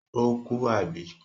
Ó kú, àbí?